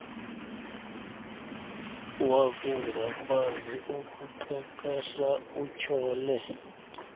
wakungakwazi ukuqeqesha utyhole